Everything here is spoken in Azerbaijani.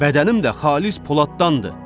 Bədənim də xalis poladdandır.